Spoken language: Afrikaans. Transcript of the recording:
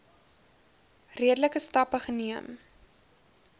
redelike stappe geneem